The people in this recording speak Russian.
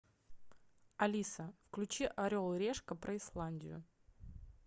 алиса включи орел и решка про исландию